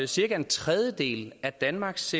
cirka en tredjedel af danmarks